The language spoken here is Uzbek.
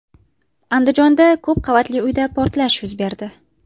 Andijonda ko‘p qavatli uyda portlash yuz berdi.